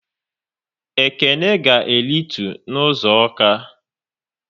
Ekene ga e ritu n' ụzọ Awka